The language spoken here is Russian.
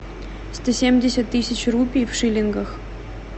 сто семьдесят тысяч рупий в шиллингах